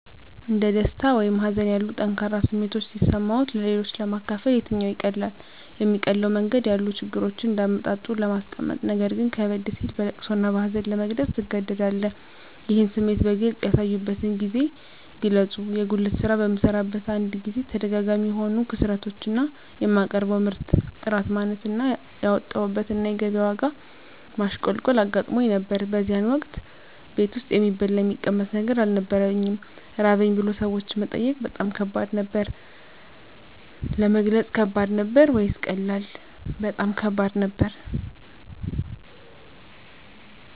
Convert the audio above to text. እንደ ደስታ ወይም ሀዘን ያሉ ጠንካራ ስሜቶች ሲሰማዎት-ለሌሎች ለማካፈል የትኛው ይቀላል? የሚቀለው መንገድ ያሉ ችግሮችን እንደ አመጣጡ ለማስቀመጥነገር ግን ከበድ ሲል በለቅሶ እና በሀዘን ለመግለፅ ትገደዳለህ ይህን ስሜት በግልጽ ያሳዩበትን ጊዜ ግለጹ የጉልት ስራ በምሰራበት አንድ ጊዜ ተደጋጋሚ የሆኑ ክስረቶች እና የማቀርበው ምርት ጥራት ማነስ እና ያወጣሁበት እና ገቢያ ላይ የዋጋ ማሽቆልቆል አጋጥሞኝ ነበር በዚያን ወቅት ቤት ውስጥ የሚበላ የሚቀመስ ነገር አልነበረኝም ራበኝ ብሎ ሰዎችን መጠየቅ በጣም ከባድ ነበር። ለመግለጽ ከባድ ነበር ወይስ ቀላል? በጣም ከባድ ነበር